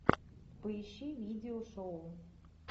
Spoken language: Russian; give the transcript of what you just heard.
поищи видео шоу